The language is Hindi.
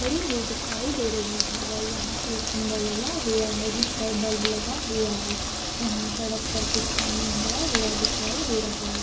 खड़ी हुई दिखाई दे रही है वह यहाँ एक खंभा लगा हुआ है जिस पर बल्ब लगा हुआ है यहाँ सड़क पर कुछ पानी भरा हुआ दिखाई दे रहा है।